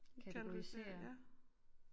Kategorisere ja